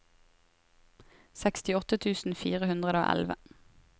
sekstiåtte tusen fire hundre og elleve